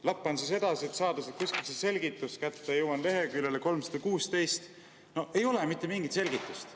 " Lappan siis edasi, et saada kuskilt selgitus kätte, ja jõuan leheküljeni 316 – no ei ole mitte mingit selgitust.